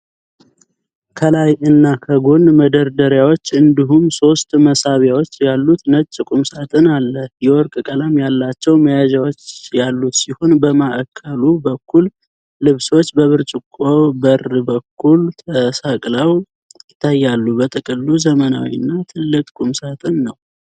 ከላይ እና ከጎን መደርደሪያዎች እንዲሁም ሶስት መሳቢያዎች ያሉት ነጭ ቁም ሳጥን አለ። የወርቅ ቀለም ያላቸው መያዣዎች ያሉት ሲሆን፣ በማዕከሉ በኩል ልብሶች በብርጭቆ በር በኩል ተሰቅለው ይታያሉ። በጥቅሉ ዘመናዊ እና ትልቅ ቁም ሳጥን ነው።